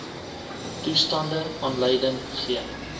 toestande aanleiding gee